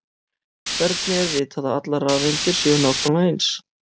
hvernig er vitað að allar rafeindir séu nákvæmlega eins